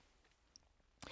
DR K